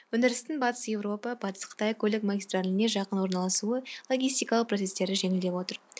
өндірістің батыс еуропа батыс қытай көлік магистраліне жақын орналасуы логистикалық процестерді жеңілдетіп отыр